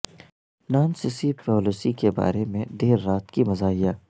Nancy Pelosi کے بارے میں دیر رات کی مزاحیہ